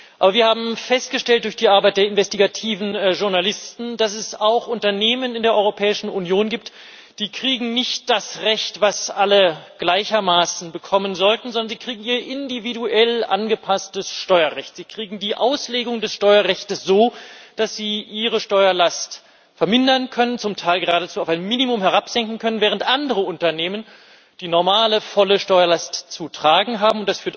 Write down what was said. Aber wir haben durch die Arbeit der investigativen Journalisten festgestellt, dass es auch Unternehmen in der Europäischen Union gibt, die nicht das Recht kriegen, das alle gleichermaßen bekommen sollten, sondern ihr individuell angepasstes Steuerrecht. Sie kriegen die Auslegung des Steuerrechts so, dass sie ihre Steuerlast vermindern können, zum Teil geradezu auf ein Minimum herabsenken können, während andere Unternehmen die normale volle Steuerlast zu tragen haben.